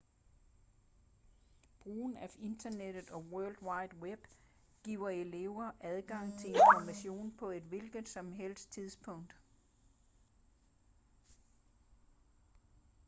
brugen af internettet og world wide web giver elever adgang til information på et hvilket som helst tidspunkt